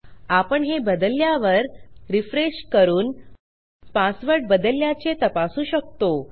आपण हे बदलल्यावर रिफ्रेश करून पासवर्ड बदलल्याचे तपासू शकतो